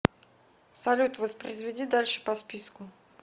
салют воспроизведи дальше по списку